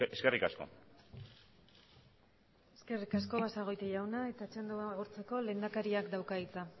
eskerrik asko eskerrik asko basagoiti jauna eta txanda hau agortzeko lehendakariak dauka hitza